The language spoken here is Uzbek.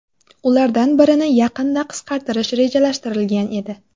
Ulardan birini yaqinda qisqartirish rejalashtirilgan edi .